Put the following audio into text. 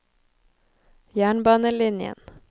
jernbanelinjen